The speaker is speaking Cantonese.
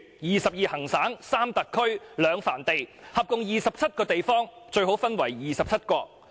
二十二行省、三特區、兩藩地，合共二十七個地方，最好分為二十七國......